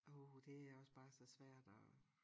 Åh det er også bare så svært og